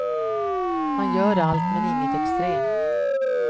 Man gör allt, men inget extremt.